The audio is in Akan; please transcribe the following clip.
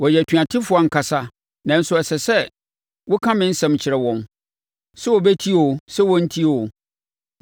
Wɔyɛ atuatefoɔ ankasa nanso ɛsɛ sɛ woka me nsɛm kyerɛ wɔn; sɛ wɔbɛtie oo sɛ wɔrentie oo.